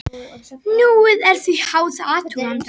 Núið er því háð athugandanum.